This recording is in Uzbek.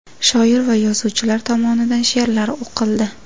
Shoir va yozuvchilar tomonidan she’rlar o‘qildi.